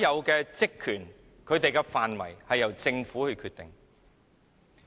員會的職權及調查範圍均由政府決定。